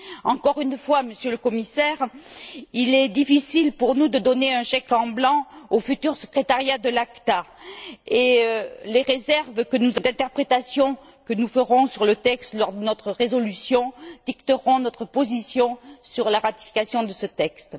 Encore une fois, Monsieur le Commissaire, il est difficile pour nous de donner un chèque en blanc au futur secrétariat de l'ACTA, et les réserves d'interprétation que nous ferons sur le texte lors de notre résolution dicteront notre position sur la ratification de ce texte.